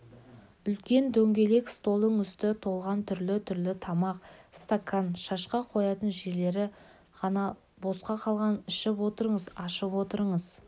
үлкен дөңгелек столдың үсті толған түрлі-түрлі тамақ стакан шашка қоятын жерлері ғана бос қалған ішіп отырыңыз ашып отырыңыз